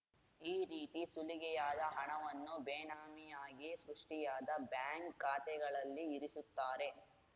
ಈ ರೀತಿ ಸುಲಿಗೆಯಾದ ಹಣವನ್ನು ಬೇನಾಮಿಯಾಗಿ ಸೃಷ್ಟಿಯಾದ ಬ್ಯಾಂಕ್‌ ಖಾತೆಗಳಲ್ಲಿ ಇರಿಸುತ್ತಾರೆ